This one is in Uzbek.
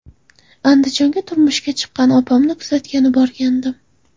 Andijonga turmushga chiqqan opamni kuzatgani borgandim.